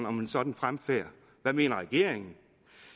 om en sådan fremfærd hvad mener regeringen